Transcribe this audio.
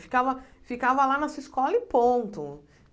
Ficava ficava lá na sua escola e ponto.